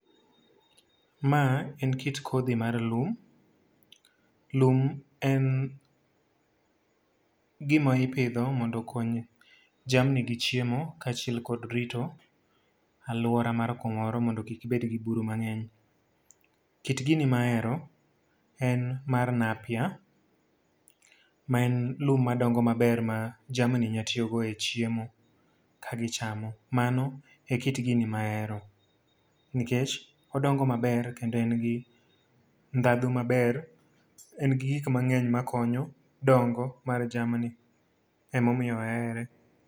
Ma en kit kodhi mar lum. Lum en gima ipidho mondo okony jamni gi chiemo kaachiel kod rito alwora mar kumoro mondo kik bed gi buru mangény. Kit gini ma ahero en mar nappier ma en lum madongo maber ma jamni nyalo tiyogo e chiemo ka gichamo. Mano e kit gini ma ahero. Nikech odongo maber, kendo en gi ndhadhu maber, en gi gik mangény ma konyo dongo mar jamni. Ema omiyo ahere.